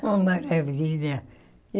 Uma maravilha.